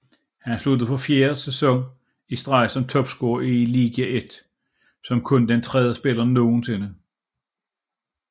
Han sluttede for fjerde sæson i streg som topscorer i Ligue 1 som kun den tredje spiller nogensinde